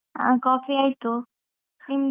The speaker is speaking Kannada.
ಆ coffee ಆಯ್ತು, ನಿಮ್ದು?